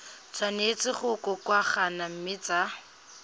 tshwanetse go kokoanngwa mme tsa